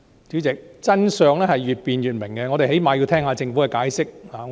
主席，真相越辯越明，我們最低限度要聆聽政府的解釋。